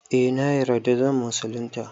Eh na yarda zan musulunta